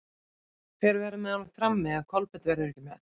Hver verður með honum frammi ef Kolbeinn verður ekki með?